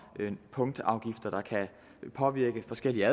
punktafgifter der kan påvirke forskellige